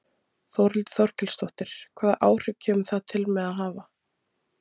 Þórhildur Þorkelsdóttir: Hvaða áhrif kemur það til með að hafa?